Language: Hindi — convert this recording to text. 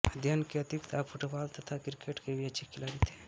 अध्ययन के अतिरिक्त आप फुटबाल तथा क्रिकेट के भी अच्छे खिलाड़ी थे